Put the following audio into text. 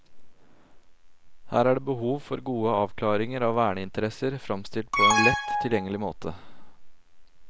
Her er det behov for gode avklaringer av verneinteressene, fremstilt på en lett tilgjengelig måte.